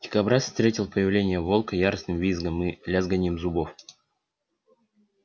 дикобраз встретил появление волка яростным визгом и лязганьем зубов